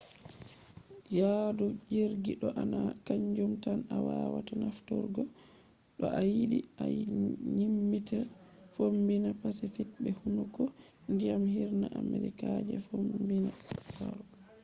yaadu jirgi do na kanjum tan a wawata nafturgo to a yiɗi a dyaɓɓita fombina pacific be hunduko ndiyam hirna amerika je fombina. laru les